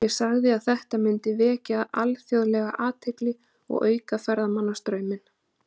Ég sagði að þetta myndi vekja alþjóðlega athygli og auka ferðamannastrauminn.